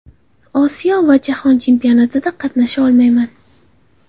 Osiyo va Jahon chempionatida qatnasha olmayman.